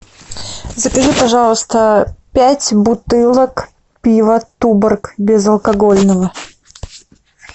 закажи пожалуйста пять бутылок пива туборг безалкогольного